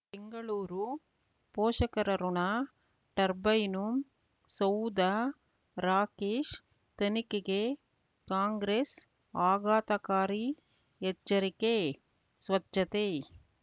ಬೆಂಗಳೂರು ಪೋಷಕರಋಣ ಟರ್ಬೈನು ಸೌಧ ರಾಕೇಶ್ ತನಿಖೆಗೆ ಕಾಂಗ್ರೆಸ್ ಆಘಾತಕಾರಿ ಎಚ್ಚರಿಕೆ ಸ್ವಚ್ಛತೆ